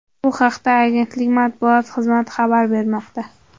Bu haqda Agentlik matbuot xizmati xabar bermoqda .